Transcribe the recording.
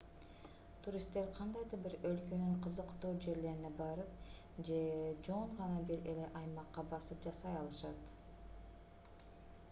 туристтер кандайдыр бир өлкөнүн кызыктуу жерлерине барып же жөн гана бир эле аймакка басым жасай алышат